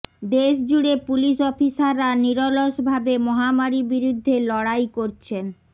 দেশ জুড়ে পুলিশ অফিসাররা নিরলসভাবে মহামারি বিরুদ্ধে লড়াই করছেন